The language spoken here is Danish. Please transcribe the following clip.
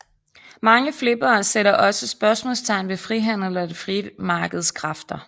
Mange flippere sætter også spørgsmålstegn ved frihandel og det frie markeds kræfter